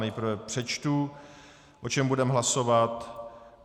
Nejprve přečtu, o čem budeme hlasovat.